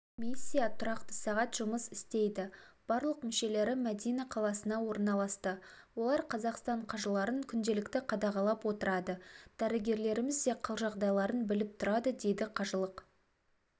миссия тұрақты сағат жұмыс істейді барлық мүшелері мәдинақаласына орналасты олар қазақстан қажыларын күнелікті қадағалап отырады дәрігерлерімізде қал-жағдайларын біліп тұрады дейді қажылық